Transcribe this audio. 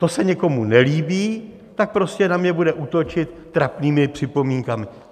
To se někomu nelíbí, tak prostě na mě bude útočit trapnými připomínkami.